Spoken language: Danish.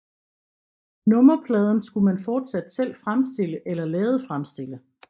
Nummerpladen skulle man fortsat selv fremstille eller lade fremstille